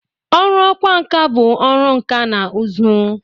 Ọrụ ọkwa nka bụ ọrụ nka na ụzụ.